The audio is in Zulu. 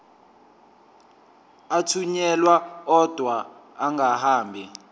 athunyelwa odwa angahambi